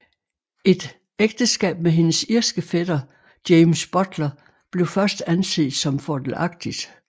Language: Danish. Et ægteskab med hendes irske fætter James Butler blev først anset som fordelagtigt